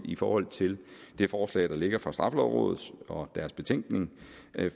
i forhold til det forslag der ligger fra straffelovrådet og deres betænkning